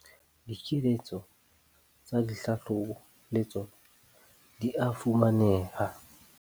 Dikeletso tsa dihlahlobo le tsona di a fumaneha.